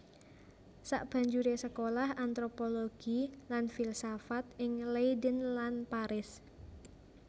Sabanjuré sekolah antropologi lan filsafat ing Leiden lan Paris